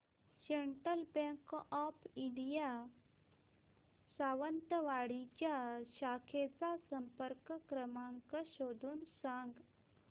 central bank of India Sawantwadi च्या शाखेचा संपर्क क्रमांक शोधून सांग